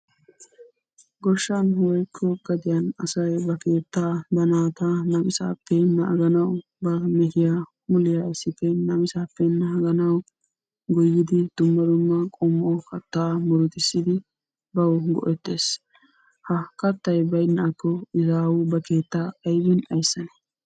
Goshshan woykko gadiyan asayi ba keettaa ba naata namisaappe naaganawu ba mehiya muliya issippe namisaappe naaganawu goyyidi dumma dumma qommo kattaa murutissidi bawu go'ettes. Ha Kattayi baynnaakko izaawu ba keettaa aybin ayssanee?